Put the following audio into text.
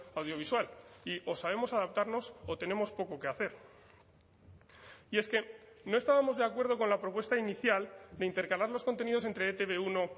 audiovisual y o sabemos adaptarnos o tenemos poco que hacer y es que no estábamos de acuerdo con la propuesta inicial de intercalar los contenidos entre e te be uno